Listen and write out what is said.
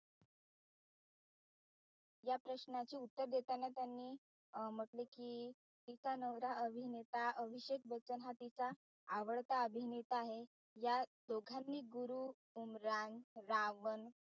या प्रश्नाचे उत्तर देताना त्यांनी अं म्हटले कि अं तिचा नवरा अभिनेता अभिषेक बच्चन हा तिचा आवडता अभिनेता आहे या दोघांनी गुरु, उमरान, रावण